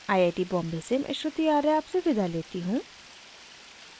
I I T Bombay से मैं श्रुति आर्य आपसे विदा लेती हूँ